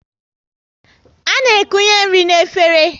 A na ekunye nri n'efere